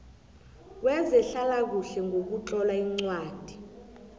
wezehlalakuhle ngokutlola incwadi